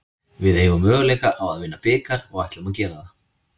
Við eigum möguleika á að vinna bikar og ætlum að gera það.